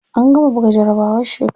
An gama buga jarabawar shekara.